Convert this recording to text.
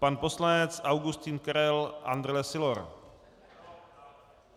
Pan poslanec Augustin Karel Andrle Sylor.